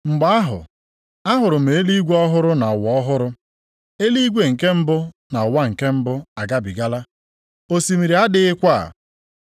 Mgbe ahụ, ahụrụ m eluigwe ọhụrụ na ụwa ọhụrụ. + 21:1 \+xt Aịz 65:17\+xt* Eluigwe nke mbụ na ụwa nke mbụ agabigala, osimiri adịghịkwa.